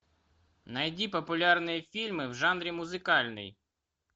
найди популярные фильмы в жанре музыкальный